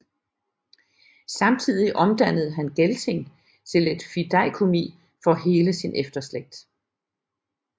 Samtidig omdannede han Gelting til et fideikommis for hele sin efterslægt